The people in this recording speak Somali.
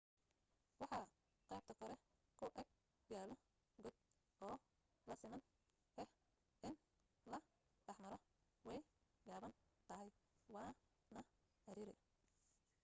waxaa qaybta kore ku ag yaalo god oo laazim ah in la dhex maro way gaaban tahay waa na cariiri